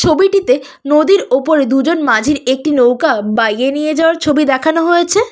ছবিটিতে নদীর ওপরে দু'জন মাঝির একটি নৌকা বাইয়ে নিয়ে যাওয়ার ছবি দেখানো হয়েছে।